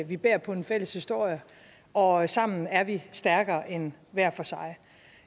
vi bærer på en fælles historie og sammen er vi stærkere end hver for sig